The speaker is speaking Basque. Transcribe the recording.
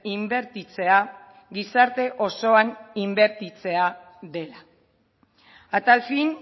inbertitzea gizarte osoan inbertitzea dela a tal fin